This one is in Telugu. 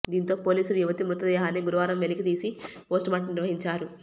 దీంతో పోలీసులు యువతి మృతదేహాన్ని గురువారం వెలికి తీసి పోస్టుమార్టం నిర్వహించారు